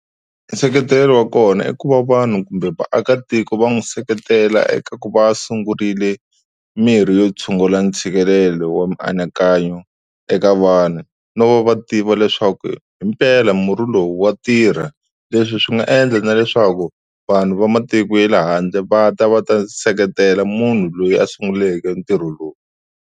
Nseketelo wa kona i ku va vanhu kumbe vaakatiko va n'wi seketela eka ku va a sungurile mirhi yo tshungula ntshikelelo wa mianakanyo eka vanhu, no va va tiva leswaku hi mpela murhi lowu wa tirha. Leswi swi nga endla na leswaku vanhu va matiko ya le handle va ta va ta seketela munhu loyi a sunguleke ntirho lowu.